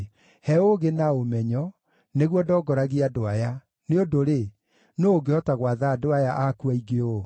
He ũũgĩ na ũmenyo, nĩguo ndongoragie andũ aya, nĩ ũndũ-rĩ, nũũ ũngĩhota gwatha andũ aya aku aingĩ ũũ?”